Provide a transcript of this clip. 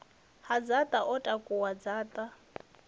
ha dzaṱa o takuwa dzaṱa